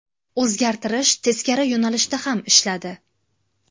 O‘zgartirish teskari yo‘nalishda ham ishladi.